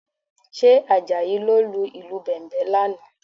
Ṣé Àjàyí ló lu ìlù Bẹ̀m̀bẹ̀ lánàá?